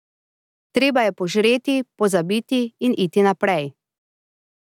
Treba je požreti, pozabiti in iti naprej.